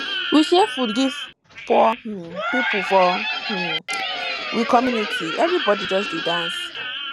we share food give poor um pipo for um we community everybodi just dey dance